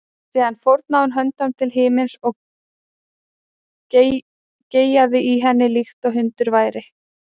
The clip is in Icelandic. Síðan fórnaði hún höndum til himins og geyjaði í henni líkt og hundur væri.